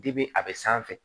a bɛ sanfɛ